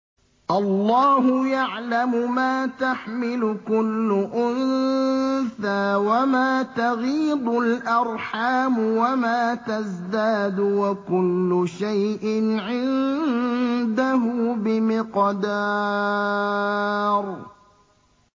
اللَّهُ يَعْلَمُ مَا تَحْمِلُ كُلُّ أُنثَىٰ وَمَا تَغِيضُ الْأَرْحَامُ وَمَا تَزْدَادُ ۖ وَكُلُّ شَيْءٍ عِندَهُ بِمِقْدَارٍ